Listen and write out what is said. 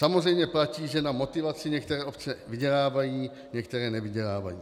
Samozřejmě platí, že na motivaci některé obce vydělávají, některé nevydělávají.